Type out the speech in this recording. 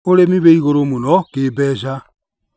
ũrĩmĩ wĩ igũrũ muno kĩ mbeca